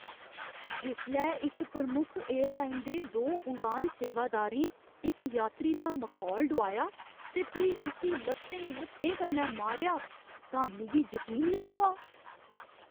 जिसलै इक प्रमुख एयरलाइन दे दो उड़ान सेवादारें इक यात्री दा मखौल डुआया ते फ्ही उस्सी लत्तें मुक्कें कन्नै मारेआ तां मिगी जकीन नेईं होआ।